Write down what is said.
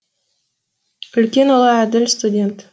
үлкен ұлы әділ студент